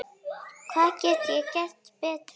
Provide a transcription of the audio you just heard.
Hvað get ég gert betur?